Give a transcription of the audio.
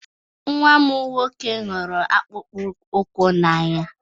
Nwa m nwoke hụrụ akpụkpọ ụkwụ n'anya